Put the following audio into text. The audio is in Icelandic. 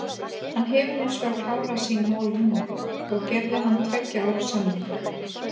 Hann hefur hinsvegar klárað sín mál núna og gerði hann tveggja ára samning.